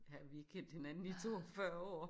Ja vi har kendt hinanden i 42 år